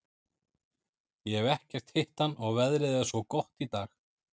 Ég hef ekkert hitt hann og veðrið er svo gott í dag.